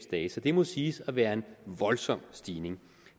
dage så det må siges at være en voldsom stigning